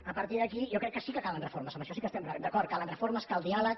a partir d’aquí jo crec que sí que calen reformes en això sí que estem d’acord calen reformes cal diàleg